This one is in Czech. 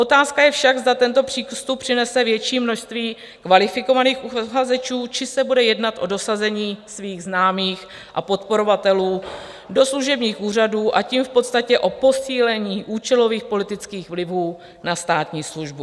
Otázka je však, zda tento přístup přinese větší množství kvalifikovaných uchazečů, či se bude jednat o dosazení svých známých a podporovatelů do služebních úřadů, a tím v podstatě o posílení účelových politických vlivů na státní službu.